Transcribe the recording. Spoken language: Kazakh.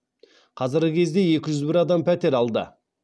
қазіргі кезде екі жүз бір адам пәтер алды